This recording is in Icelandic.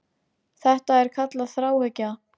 Þetta er kallað þráhyggja.